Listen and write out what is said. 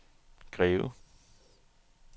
Greve